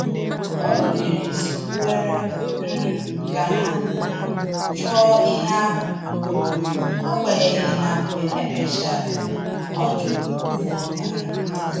O rubere isi kwere um ka ha um chọọ ihe ahụ, agbanyeghi na mgbe e mechara ọ jụrụ uru ọ bara